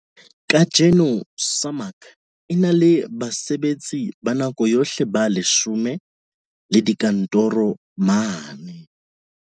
Kajeno SAMAG e na le basebetsi ba nako yohle ba 10 le dikantoro mane